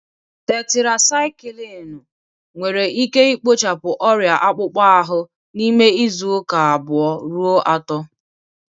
Tetirasaikilinu nwere ike ikpochapụ ọrịa akpụkpọ ahụ n'ime izu uka abuo ruo ato.